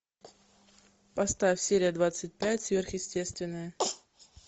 поставь серия двадцать пять сверхъестественное